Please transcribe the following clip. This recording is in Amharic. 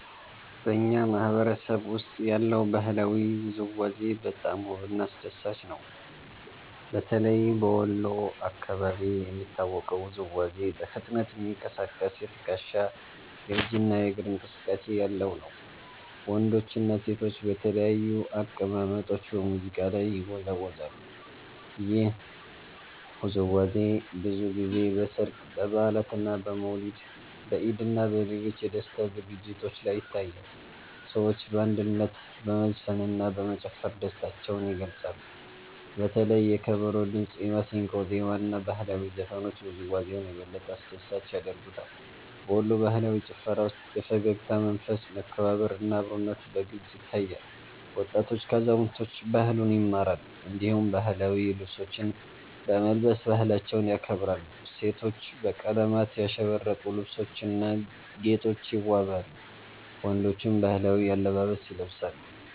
በእኛ ማህበረሰብ ውስጥ ያለው ባህላዊ ውዝዋዜ በጣም ውብና አስደሳች ነው። በተለይ በወሎ አካባቢ የሚታወቀው ውዝዋዜ በፍጥነት የሚንቀሳቀስ የትከሻ፣ የእጅ እና የእግር እንቅስቃሴ ያለው ነው። ወንዶችና ሴቶች በተለያዩ አቀማመጦች በሙዚቃ ላይ ይወዛወዛሉ። ይህ ውዝዋዜ ብዙ ጊዜ በሠርግ፣ በበዓላት፣ በመውሊድ፣ በኢድ እና በሌሎች የደስታ ዝግጅቶች ላይ ይታያል። ሰዎች በአንድነት በመዝፈንና በመጨፈር ደስታቸውን ይገልጻሉ። በተለይ የከበሮ ድምጽ፣ የማሲንቆ ዜማ እና ባህላዊ ዘፈኖች ውዝዋዜውን የበለጠ አስደሳች ያደርጉታል። በወሎ ባህላዊ ጭፈራ ውስጥ የፈገግታ መንፈስ፣ መከባበር እና አብሮነት በግልጽ ይታያል። ወጣቶች ከአዛውንቶች ባህሉን ይማራሉ፣ እንዲሁም ባህላዊ ልብሶችን በመልበስ ባህላቸውን ያከብራሉ። ሴቶች በቀለማት ያሸበረቁ ልብሶችና ጌጦች ይዋበዋሉ፣ ወንዶችም ባህላዊ አለባበስ ይለብሳሉ።